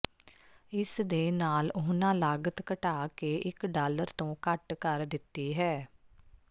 ਇਸ ਦੇ ਨਾਲ ਉਨ੍ਹਾਂ ਲਾਗਤ ਘਟਾ ਕੇ ਇਕ ਡਾਲਰ ਤੋਂ ਘੱਟ ਕਰ ਦਿੱਤੀ ਹੈ